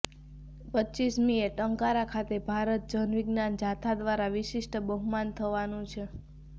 રપમીએ ટંકારા ખાતે ભારત જન વિજ્ઞાન જાથા દ્વારા વિશિષ્ટ બહુમાન થવાનું છે